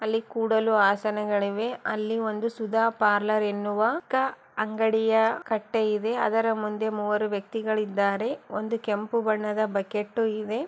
ಅಲ್ಲಿ ಕೂಡಲು ಆಸನಗಳಿವೆ ಅಲ್ಲಿ ಒಂದು ಸುಧಾ ಪಾರ್ಲರ್ ಎನ್ನುವ ಕ ಅಂಗಡಿಯ ಕಟ್ಟೆ ಇದೆ ಅದರ ಮುಂದೆ ಮುವ್ವರು ವ್ಯಕ್ತಿಗಳಿದ್ದಾರೆ ಒಂದು ಕೆಂಪು ಬಣ್ಣದ ಬಕೆಟ್ಟು ಇವೆ.